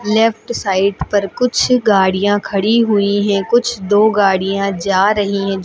Left side पर कुछ गाड़ियां खड़ी हुई हैं कुछ दो गाड़ियां जा रही हैं।